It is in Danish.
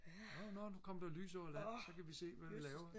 nå nå nu kom der lys over land så kan vi se hvad vi laver